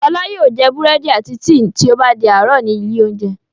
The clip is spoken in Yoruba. Fọlá yóò jẹ búrẹ́dì àti tíì tí ó bá di àárọ̀ ní ilé-oúnjẹ.